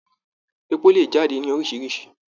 Èpò le jáde ní oríṣiríṣi.